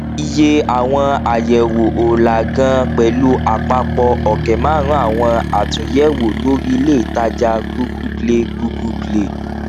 iye àwọn àyẹwò ó làá ganan pẹlú àpapọ ọkẹ màrún àwọn àtúnyẹwò lórí ilé ìtajà google play google play